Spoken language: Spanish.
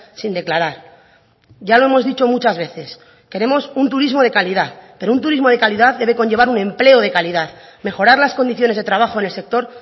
sin declarar ya lo hemos dicho muchas veces queremos un turismo de calidad pero un turismo de calidad debe conllevar un empleo de calidad mejorar las condiciones de trabajo en el sector